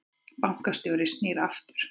Bankastjóri snýr aftur